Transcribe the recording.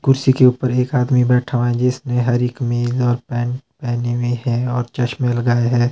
कुर्सी के ऊपर एक आदमी बैठा हुआ है जिसने हरी कमीज और पैंट पहनी हुई है और चश्मे लगाए है।